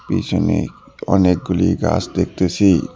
পিছনে অনেকগুলি গাছ দেখতেসি।